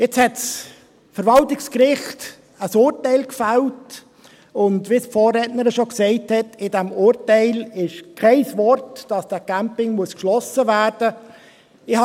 Nun hat das Verwaltungsgericht ein Urteil gefällt, und – wie es meine Vorrednerin schon gesagt hat – in diesem Urteil steht kein Wort, dass dieser Campingplatz geschlossen werden müsse.